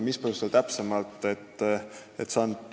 Mis põhjustel seda seni pole tehtud?